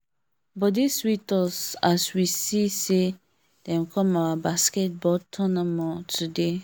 body sweet us as we see say dem come our basketball tournament today